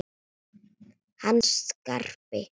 Hann Skarpi?